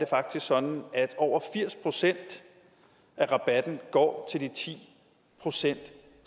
faktisk sådan at over firs procent af rabatten går til de ti procent